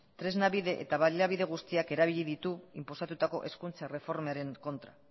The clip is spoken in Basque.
tresna bide eta baliabide guztiak erabili ditu inposatutako hezkuntza erreformaren kontra